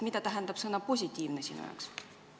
Mida tähendab sõna "positiivne" sinu jaoks?